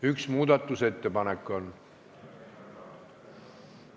Üks muudatusettepanek on.